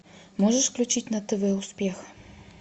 можешь включить на тв успех